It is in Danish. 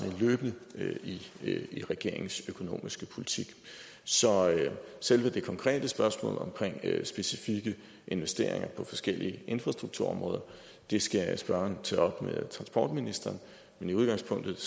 med i regeringens økonomiske politik så selve det konkrete spørgsmål om specifikke investeringer på forskellige infrastrukturområder skal spørgeren tage op med transportministeren men i udgangspunktet